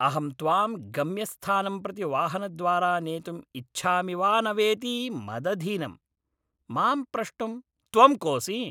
अहं त्वां गम्यस्थानं प्रति वाहनद्वारा नेतुम् इच्छामि वा न वेति मदधीनम्, मां प्रष्टुं त्वं कोसि?